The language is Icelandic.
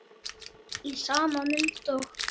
Í sama mund og